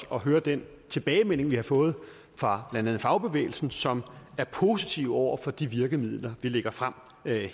for at høre den tilbagemelding vi har fået fra blandt andet fagbevægelsen som er positiv over for de virkemidler vi lægger frem